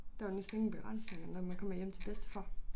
Der jo næsten ingen begrænsninger når man kommer hjem til bedstefar